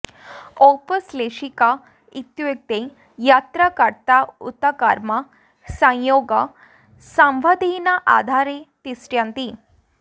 औपश्लेषिक इत्युक्ते यत्र कर्ता उत कर्म संयोग सम्बन्धेन आधारे तिष्ठन्ति